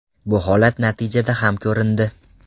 Bu holat natijada ham ko‘rindi.